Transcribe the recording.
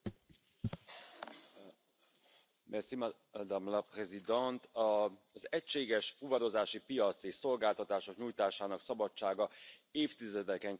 Elnök Asszony! Az egységes fuvarozási piac és szolgáltatások nyújtásának szabadsága évtizedeken keresztül az európai gazdaság mozgatója volt.